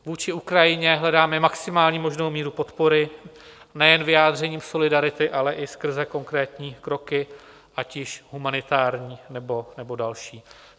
Vůči Ukrajině hledáme maximální možnou míru podpory nejen vyjádřením solidarity, ale i skrze konkrétní kroky, ať již humanitární, nebo další.